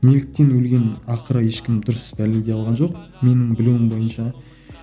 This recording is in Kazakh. неліктен өлгенін ақыры ешкім дұрыс дәлелдей алған жоқ менің білуім бойынша